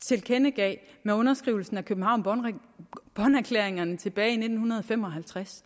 tilkendegav med underskrivelsen af københavn bonn erklæringerne tilbage i nitten fem og halvtreds